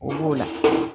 O b'o la